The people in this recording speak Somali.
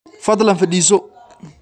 Fadlan fadhiiso